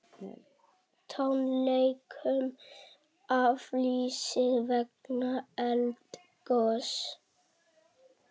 Tónleikum aflýst vegna eldgoss